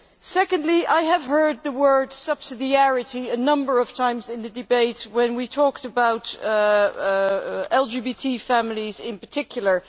Secondly, I heard the word subsidiarity' a number of times in the debate, when we talked about LGBT families in particular.